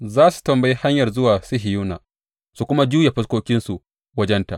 Za su tambayi hanyar zuwa Sihiyona su kuma juya fuskokinsu wajenta.